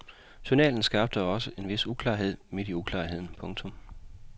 Journalen skabte også en vis klarhed midt i uklarheden. punktum